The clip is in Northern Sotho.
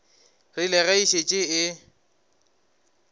rile ge e šetše e